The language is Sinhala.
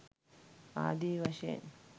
ආදී වශයෙන්